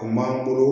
O m'an bolo